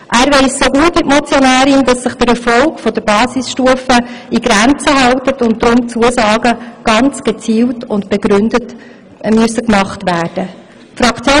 Er weiss so gut wie die Motionärin, dass sich der Erfolg der Basisstufe in Grenzen hält und deshalb Zusagen ganz gezielt und begründet gemacht werden müssen.